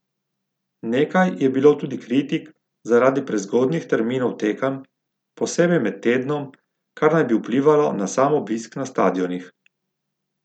Nekaj je bilo tudi kritik zaradi prezgodnjih terminov tekem, posebej med tednom, kar naj bi vplivalo na sam obisk na stadionih.